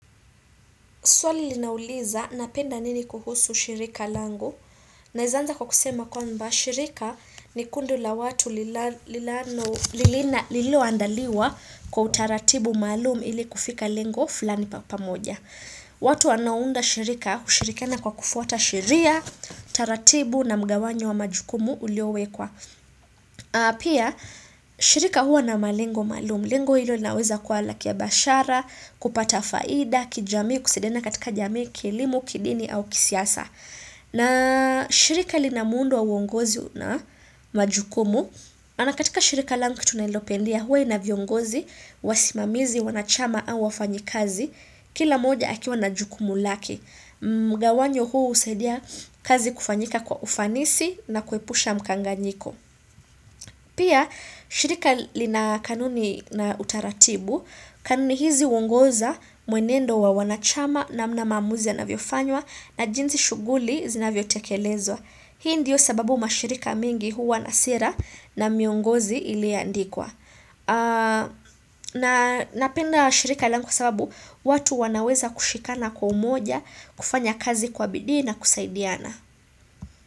Swali linauliza napenda nini kuhusu shirika langu naeza anza kwa kusema kwamba shirika ni kundi la watu lililoandaliwa kwa utaratibu maalum ili kufika lengo fulani pamoja. Watu wanaounda shirika hushirikiana kwa kufuata sheria, taratibu na mgawanyo wa majukumu uliowekwa. Pia, shirika huwa na malengo maalum Lengo hilo linaweza kuwa la kibiashara, kupata faida, kijamii, kusaidiana katika jamii, kilimo, kidini au kisiasa na shirika linamuundo wa uongozi na majukumu na katika shirika langu kitu ninalopendea huwa ina viongozi, wasimamizi, wanachama au wafanyi kazi Kila moja akiwa na jukumu lake Mgawanyo huu husaidia kazi kufanyika kwa ufanisi na kuepusha mkanganyiko Pia, shirika lina kanuni na utaratibu, kanuni hizi huongoza mwenendo wa wanachama namna maamuzi yanavyofanywa na jinsi shughuli zinavyotekelezwa. Hii ndiyo sababu mashirika mengi huwa na sera na miongozi iliyoandikwa. Na napenda shirika langu kwa sababu watu wanaweza kushikana kwa umoja kufanya kazi kwa bidii na kusaidiana.